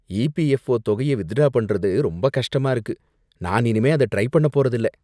EPFO தொகைய withdraw பண்றது ரொம்ப கஷ்டமா இருக்கு, நான் இனிமே அத ட்ரை பண்ண போறதில்ல.